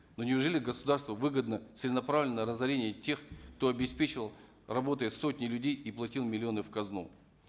ну неужели государству выгодно целенаправленное разорение тех кто обеспечивал работой сотни людей и платил миллионы в казну